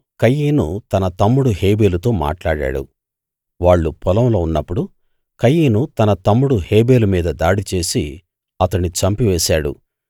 కయీను తన తమ్ముడు హేబెలుతో మాట్లాడాడు వాళ్ళు పొలంలో ఉన్నప్పుడు కయీను తన తమ్ముడు హేబెలు మీద దాడి చేసి అతణ్ణి చంపివేశాడు